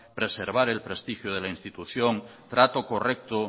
preservar el prestigio de la institución trato correcto